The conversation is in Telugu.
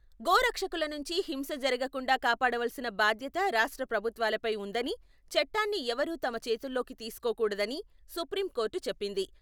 గోరక్షకుల నుంచి హింస జరగకుండా కాపాడవలసిన బాధ్యత రాష్ట్ర ప్రభుత్వాలపై ఉందనీ, చట్టాన్ని ఎవరూ తమ చేతుల్లోకి తీసుకోకూడదని, సుప్రీంకోర్టు చెప్పింది.